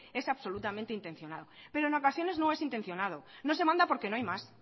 es absolutamente intencional pero en ocasiones no es intencionado no se manda porque no hay más